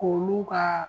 K'olu ka